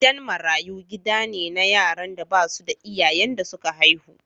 Gidan marayu gida ne na yaran da ba su da iyayen da suka haihu.